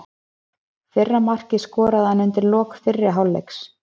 Fyrra markið skoraði hann undir lok fyrri hálfleiks.